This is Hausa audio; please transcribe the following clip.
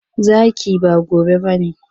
Zaki, ba gobe ba ne.